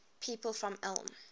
people from ulm